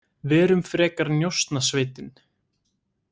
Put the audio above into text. Verum frekar Njósnasveitin.